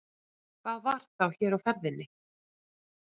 Hvað var þá hér á ferðinni?